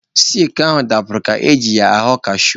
Sikle ahụ dapụrụ ka o ji ya aghọ kashu.